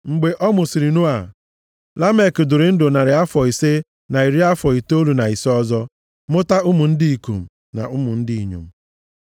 Mgbe a mụsịrị Noa, Lamek dịrị ndụ narị afọ ise na iri afọ itoolu na ise ọzọ mụta ụmụ ndị ikom na ụmụ ndị inyom.